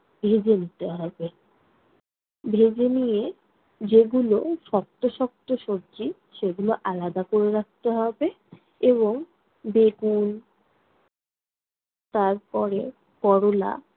ভেজে নিতে হবে। ভেজে নিয়ে যেগুলো শক্ত শক্ত সবজি সেগুলো আলাদা কোরে রাখতে হবে এবং বেগুন তারপরে করলা